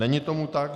Není tomu tak.